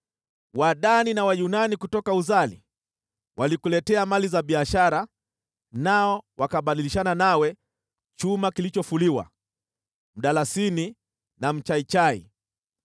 “ ‘Wadani na Wayunani kutoka Uzali, walikuletea mali za biashara, nao wakabadilishana nawe chuma kilichofuliwa, mdalasini na mchaichai.